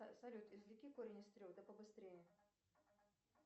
салют извлеки корень из трех да побыстрее